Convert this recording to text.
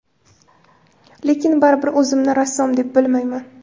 Lekin baribir o‘zimni rassom deb bilmayman.